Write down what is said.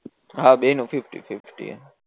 હા બેય નું ફિફ્ટી ફિફ્ટી